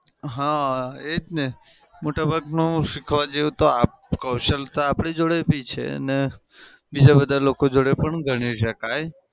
હા એ જ ને મોટા ભાગનું શીખવા જેવું તો આપ કૌશલતા આપડી જોડે બી છે અને બીજા બધા લોકો જોડે પણ ગણી શકાય.